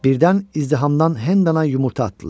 Birdən izdihamdan Hendana yumurta atdılar.